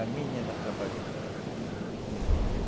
A minha ainda trabalhou bem nisso, na juta.